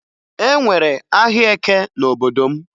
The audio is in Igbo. E nwere ahịa Eke n'obodo m